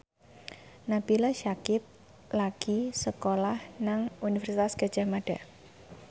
Nabila Syakieb lagi sekolah nang Universitas Gadjah Mada